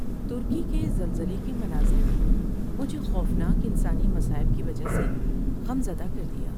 ترکی کے زلزلے کے مناظر نے مجھے خوفناک انسانی مصائب کی وجہ سے غم زدہ کر دیا۔